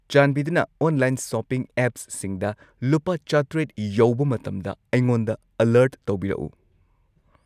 ꯆꯥꯟꯕꯤꯗꯨꯅ online shopping ꯑꯦꯞꯁꯁꯤꯡꯗ ꯂꯨꯄꯥ ꯆꯥꯇ꯭ꯔꯦꯠ ꯌꯧꯕ ꯃꯇꯝꯗ ꯑꯩꯉꯣꯟꯗ ꯑꯂꯔꯠ ꯇꯧꯕꯤꯔꯛꯎ